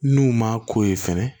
N'u ma k'o ye fɛnɛ